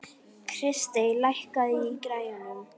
Kristey, lækkaðu í græjunum.